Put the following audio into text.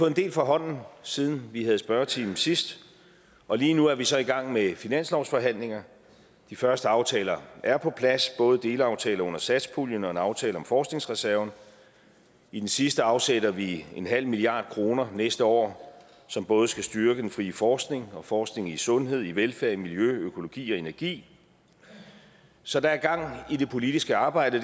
en del fra hånden siden vi havde spørgetime sidst og lige nu er vi så i gang med finanslovsforhandlinger de første aftaler er på plads både delaftaler under satspuljen og en aftale om forskningsreserven i den sidste afsætter vi en halv milliard kroner næste år som både skal styrke den frie forskning og forskning i sundhed velfærd miljø økologi og energi så der er gang i det politiske arbejde